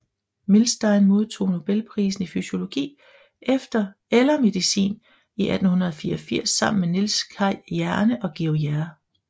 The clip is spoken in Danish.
Milstein modtog nobelprisen i fysiologi eller medicin i 1984 sammen med Niels Kaj Jerne og Georges J